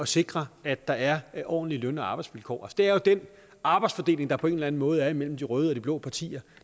sikre at der er er ordentlige løn og arbejdsvilkår det er jo den arbejdsfordeling der på en eller anden måde er imellem de røde og de blå partier